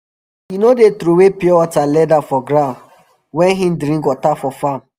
he no dey trowey pure water leather for ground wen he drink water for farm